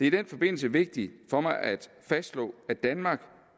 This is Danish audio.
i den forbindelse vigtigt for mig at fastslå at i danmark